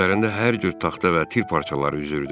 Üzərində hər cür taxta və tir parçaları üzürdü.